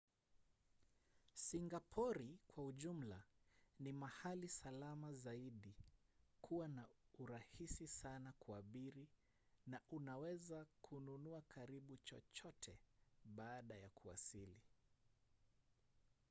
singapori kwa ujumla ni mahali salama zaidi kuwa na rahisi sana kuabiri na unaweza kununua karibu chochote baada ya kuwasili